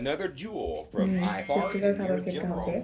হম পুষ্টিকর খাবার খেতে হবে।